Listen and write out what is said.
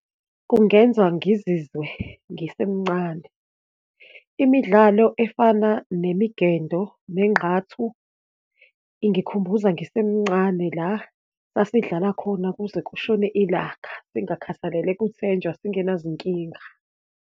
Kungenza ngizizwe ngisemncane. Imidlalo efana nemigendo, nenqathu ingikhumbuza ngisemncane, la sasidlala khona kuze kushone ilanga, singakhathalele kuthenjwa singenazinkinga.